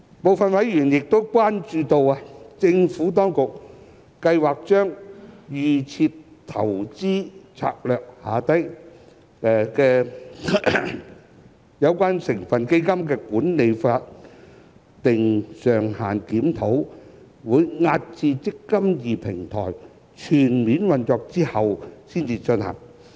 部分委員亦關注到，政府當局計劃把預設投資策略下有關成分基金的管理費法定上限的檢討，押後至"積金易"平台全面運作後才進行。